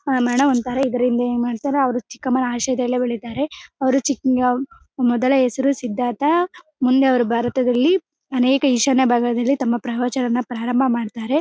ಆಹ್ಹ್ madam ಕರೆಯಿದದ್ರಿಂದ ಚಿಕ್ಕಮ್ಮನ ಆಯುಷ್ಯದಲ್ಲಿ ಉಳಿತಾರೆ ಅವ್ರು ಮೊದಲ ಹೆಸರು ಸಿದ್ದಾರ್ಥ ಮುಂದೆ ಅವರು ಭಾರತದಲ್ಲಿ ಅನೇಕ ತಮ್ಮ ಈಶಾನ್ಯ ಭಾಗದಲ್ಲಿ ಪ್ರವಚನ ವನ್ನು ಪ್ರಾರಂಭ ಮಾಡ್ತಾರೆ .